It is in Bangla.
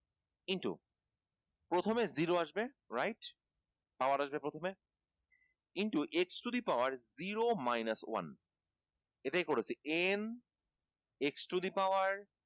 into প্রথমে zero আসবে right power আসবে প্রথমে কিন্তু into x to the power zero minus one এটাই করেছি n x to the power